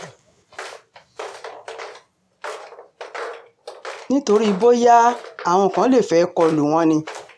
nítorí bóyá um àwọn kan lè fẹ́ẹ́ kọ lù wọ́n ni